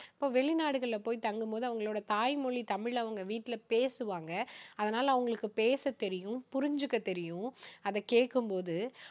இப்போ வெளிநாடுகளில போய் தங்கும்போது, அவங்களோட தாய்மொழி தமிழுல அவங்க வீட்டுல பேசுவாங்க. அதனால அவங்களுக்கு பேச தெரியும் புரிஞ்சுக்க தெரியும் அதை கேக்கும் போது.